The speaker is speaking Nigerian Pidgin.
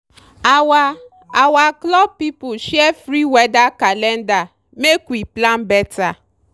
our our club people share free weather calendar make we plan better.